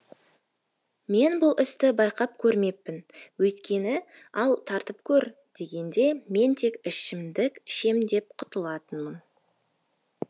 мен бұл істі байқап көрмеппін өйткені ал тартып көр дегенде мен тек ішімдік ішем деп құтылатынмын